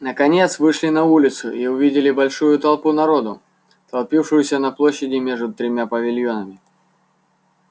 наконец вышли на улицу и увидели большую толпу народу толпившуюся на площади между тремя павильонами